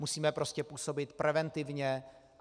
Musíme prostě působit preventivně.